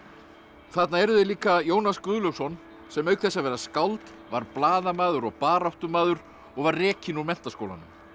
þarna eru þeir líka Jónas Guðlaugsson sem auk þess að vera skáld var blaðamaður og baráttumaður og var rekinn úr Menntaskólanum